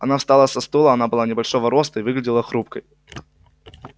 она встала со стула она была небольшого роста и выглядела хрупкой